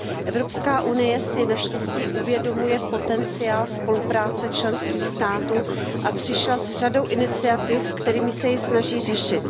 Evropská unie si naštěstí uvědomuje potenciál spolupráce členských států a přišla s řadou iniciativ, kterými se ji snaží řešit.